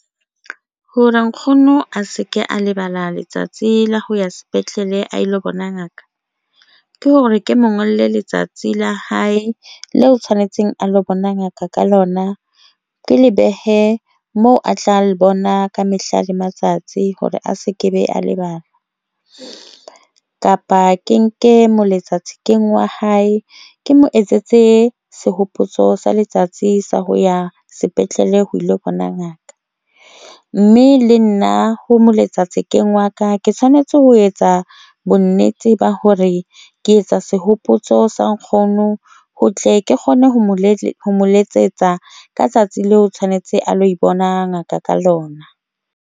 Hore nkgono a se ke a lebala letsatsi la ho ya sepetlele a lo bona, ngaka ke hore ke mo ngolle letsatsi la hae le o tshwanetseng a lo bona Ngaka ka lona ke lebohe moo a tla le bona ka mehla le matsatsi hore a se kebe, a lebala kapa ke nke mo letsatsi keng wa hae, ke mo etsetse sehopotso sa letsatsi sa ho ya sepetlele ho ilo bona ngaka ng mme le nna ho mo letsa thekeng waka, ke tshwanetse ho etsa bonnete ba hore ke etsa sehopotso sa nkgono ho tle ke kgone ho mo Le letsetsa Ka tsatsi leo, o tshwanetse a lo bona ngaka ka lona.